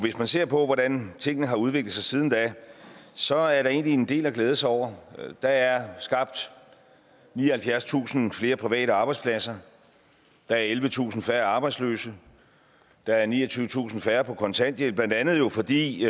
man ser på hvordan tingene har udviklet sig siden da så er der egentlig en del at glæde sig over der er skabt nioghalvfjerdstusind flere private arbejdspladser der er ellevetusind færre arbejdsløse der er niogtyvetusind færre på kontanthjælp blandt andet jo fordi